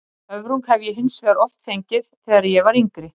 Höfrung hef ég hins vegar oft fengið þegar ég var yngri.